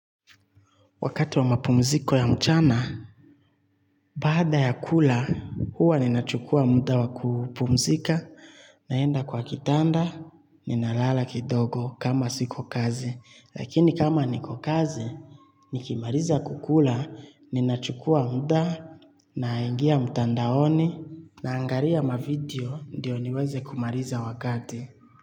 Wakati wa mapumziko ya mchana, baada ya kula, huwa ninachukua muda wa kupumzika, naenda kwa kitanda, ninalala kidogo kama siko kazi. Lakini kama niko kazi, nikimaliza kukula, ninachukua muda, naengia mtandaoni, naangalia mavideo ndio niweze kumaliza wakati.